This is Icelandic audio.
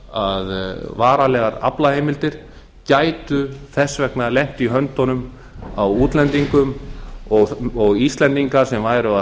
að varanlegar aflaheimildir gætu þess vegna lent í höndunum á útlendingum og íslendingar sem væru að